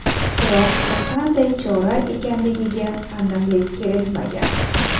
Biroq bu qanday chora ekanligiga aniqlik kiritmagan.